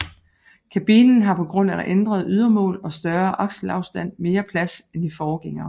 Kabinen har på grund af ændrede ydermål og større akselafstand mere plads end i forgængeren